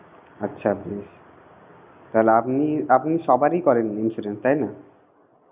আচ্ছা বেশ তাহলে আপনি আপনি সবারই করেন insurance তাই না?